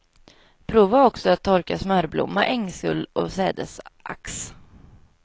Prova också att torka smörblomma, ängsull och sädesax.